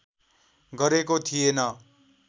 गरेको थिएन